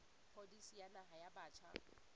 pholisi ya naha ya batjha